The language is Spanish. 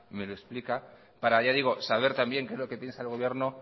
me lo explica para ya digo saber también qué es lo que piensa el gobierno